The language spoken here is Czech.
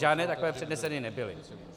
Žádné takové předneseny nebyly.